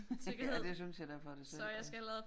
Ja det synes jeg da for dig selv også